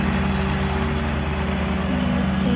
Elsku frændi, hvíl í friði.